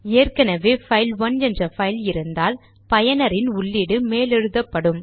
ஏற்கெனெவே file one என்ற file இருந்தால் பயனரின் உள்ளீடு மேலெழுதப்படும்